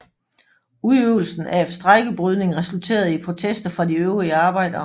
Udøvelsen af strejkebrydning resulterede i protester fra de øvrige arbejdere